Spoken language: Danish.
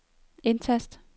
indtast